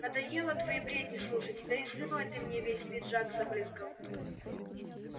надоело твои бредни слушать да и слюной ты мне весь пиджак забрызгал